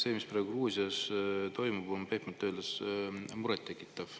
See, mis praegu Gruusias toimub, on pehmelt öeldes murettekitav.